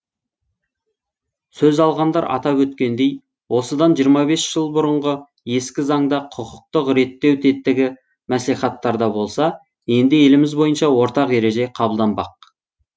сөз алғандар атап өткендей осыдан жиырма бес жыл бұрынғы ескі заңда құқықтық реттеу тетігі мәслихаттарда болса енді еліміз бойынша ортақ ереже қабылданбақ